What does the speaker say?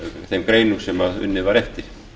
þeim greinum sem unnið var eftir